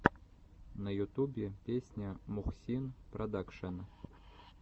на ютубе песня мухсин продакшен